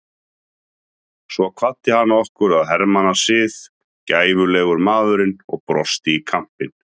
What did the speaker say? Svo kvaddi hann okkur að hermannasið, gæfulegur maðurinn og brosti í kampinn.